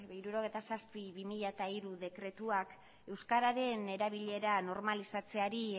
hirurogeita zazpi barra bi mila hiru dekretuak euskararen erabilera normalizatzeari